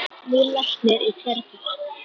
Nýr læknir í hverri ferð.